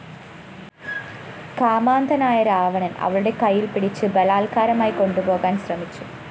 കാമാന്ധനായ രാവണന്‍ അവളുടെ കൈയില്‍ പിടിച്ച് ബലാല്‍ക്കാരമായി കൊണ്ടുപോകാന്‍ ശ്രമിച്ചു